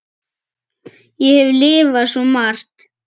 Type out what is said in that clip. Ég hef lifað svo margt.